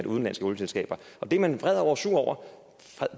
udenlandske olieselskaber det er man vred og sur over